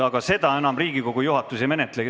Aga Riigikogu juhatus sellega ei tegele.